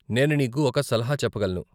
నేను నీకు ఒక సలహా చెప్పగలను.